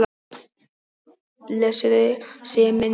Blessuð sé minning hans.